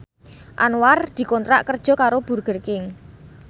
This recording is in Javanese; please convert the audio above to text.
Anwar dikontrak kerja karo Burger King